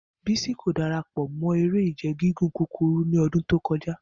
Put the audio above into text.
Bisi ko darapọ mọ ere-ije gigun kukuru ni ọdun to kọja.